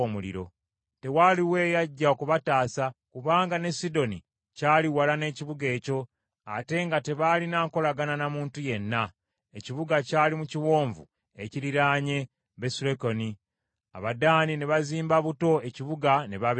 Tewaaliwo eyajja okubataasa kubanga ne Sidoni kyali wala n’ekibuga ekyo, ate nga tebalina nkolagana na muntu yenna. Ekibuga kyali mu kiwonvu ekiriraanye Besulekobu. Abaddaani ne bazimba buto ekibuga ne babeera omwo.